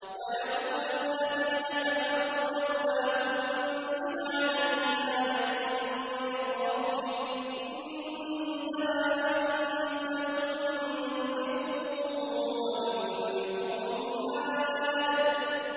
وَيَقُولُ الَّذِينَ كَفَرُوا لَوْلَا أُنزِلَ عَلَيْهِ آيَةٌ مِّن رَّبِّهِ ۗ إِنَّمَا أَنتَ مُنذِرٌ ۖ وَلِكُلِّ قَوْمٍ هَادٍ